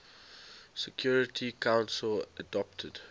security council adopted